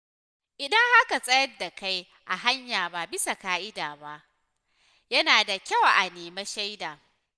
Idan aka tsayar da kai a hanya ba bisa ƙa’ida ba, yana da kyau a nemi shaida.